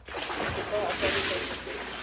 bo tla akaretsa thuto e